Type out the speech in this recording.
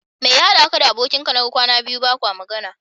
Mai ya haɗa ka da abokin ka naga kwana biyu bakwa magana?